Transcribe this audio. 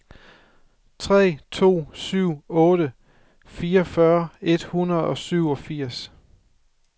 tre to syv otte fireogfyrre tre hundrede og syvogfirs